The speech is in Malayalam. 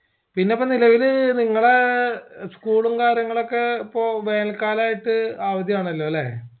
പിന്നെ ഇപ്പൊ നിലവിൽ നിങ്ങളേ school ഉം കാര്യങ്ങളുമൊക്കെ പ്പൊ വേനൽ കാലായിട്ട് അവതിയാണെല്ലോല്ലേ